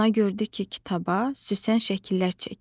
Ana gördü ki, kitaba Süsen şəkillər çəkib.